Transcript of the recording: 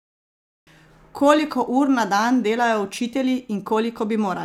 Koliko ur na dan delajo učitelji in koliko bi morali?